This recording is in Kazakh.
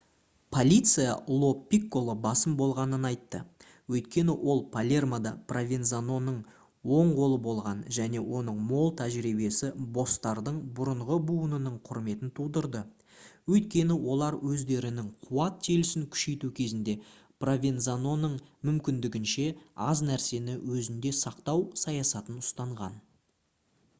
полиция ло пикколо басым болғанын айтты өйткені ол палермода провензаноның оң қолы болған және оның мол тәжірибесі босстардың бұрынғы буынының құрметін тудырды өйткені олар өздерінің қуат желісін күшейту кезінде провензаноның мүмкіндігінше аз нәрсені өзінде сақтау саясатын ұстанған